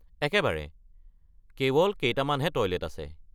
একেবাৰে, কেৱল কেইটামানহে টয়লেট আছে।